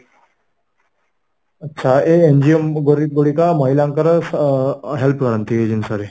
ଆଚ୍ଛା, ଏଇ NGO ଗୁଡିକ ମହିଳାଙ୍କର ଅ help କରନ୍ତି ଏଇ ଜିନିଷରେ